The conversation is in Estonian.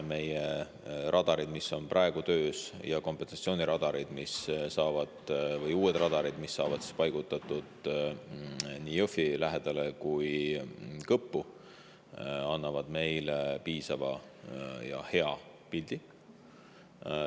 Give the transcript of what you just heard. Meie radarid, mis on praegu töös, ja kompensatsiooniradarid või uued radarid, mis saavad paigutatud nii Jõhvi lähedale kui ka Kõppu, annavad meile piisava ja hea pildi.